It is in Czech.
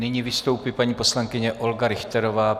Nyní vystoupí paní poslankyně Olga Richterová.